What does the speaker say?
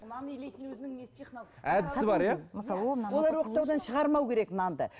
әдісі бар иә олар оқтаудан шығармау керек нанды